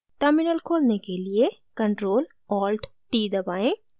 terminal खोलने के लिए ctrl + alt + t दबाएँ